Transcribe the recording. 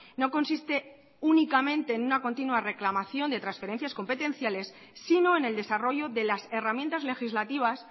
no consiste únicamente en una continua reclamación de transferencias competenciales sino en el desarrollo de las herramientas legislativas